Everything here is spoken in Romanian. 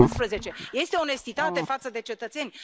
2011? Este onestitate față de cetățeni?